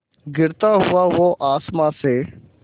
गिरता हुआ वो आसमां से